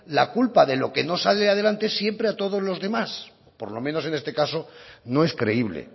la culpa de lo que no sale adelante siempre a todos los demás por lo menos en este caso no es creíble